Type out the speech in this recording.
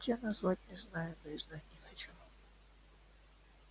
как тебя назвать не знаю да и знать не хочу